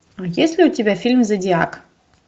есть ли у тебя фильм зодиак